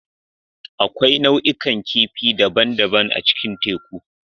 Akwai nau'ikan kifi daban-daban a cikin teku.